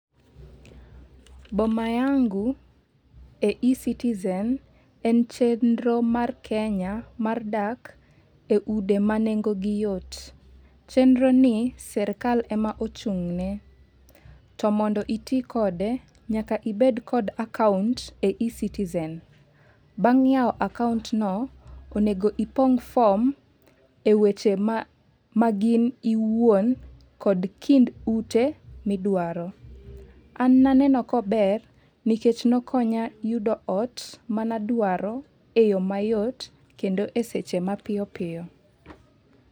Boma yangu e ecitizen en chenro mar kenya mar dak e ude ma nengo gi yot. Chenro ni sirkal ema ochung'ne to mondo iti kode nyaka ibed kod akaunt e ecitizen. Bang' yawo akaunt no, onego ipong' form e weche ma gin iwuon kod kit ute midwaro . An naneno kober nikech nokonya yudo ot manadwaro e yoo mayot kendo e seche mapiyopiyo.